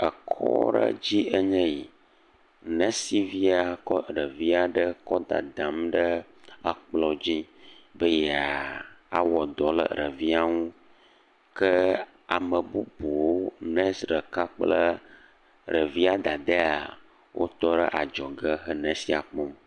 Ekɔ aɖe dzi enye yi nesivi aɖe kɔ ɖevi aɖe kɔ dadam ɖe kplɔ dzi be yeawɔ dɔ le ɖevi ŋu ke ame bubu, nesi aɖe kple ɖevia dada wotɔ ɖe adzɔge le nesia kpɔm.